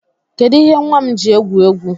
Kedụ ihe nwa m ji egwu egwu?